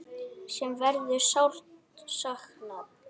Sem verður sárt saknað.